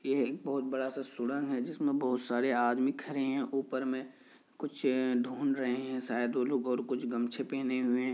ये एक बहुत बड़ा-सा सुरंग है जिसमें बहुत सारा आदमी खड़े है। ऊपर में कुछ ढूंढ रहे हैं शायद वो लोग और कुछ गमछे पहने हुए हैं।